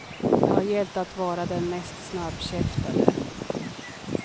Det har gällt att vara den mest snabbkäftade.